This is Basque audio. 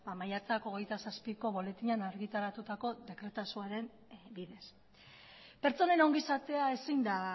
maiatzak hogeita zazpiko boletinean argitaratutako dekretazoaren bidez pertsonen ongizatea ezin da